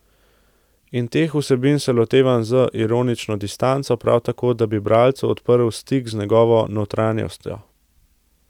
In teh vsebin se lotevam z ironično distanco prav zato, da bi bralcu odprl stik z njegovo notranjostjo.